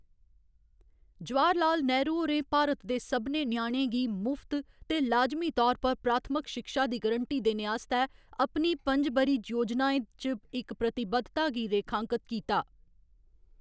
जवाहर लाल नेहरू होरें भारत दे सभनें ञ्याणें गी मुफ्त ते लाजमी तौर पर प्राथमिक शिक्षा दी गरंटी देने आस्तै अपनी पंजब'री योजनाएं च इक प्रतिबद्धता गी रेखांकत कीता।